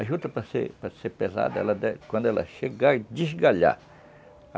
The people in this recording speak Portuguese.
A juta, para ser para ser pesada, ela quando ela chegar, é desgalhar.